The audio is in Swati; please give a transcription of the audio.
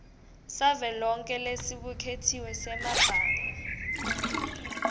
savelonkhe lesibuketiwe semabanga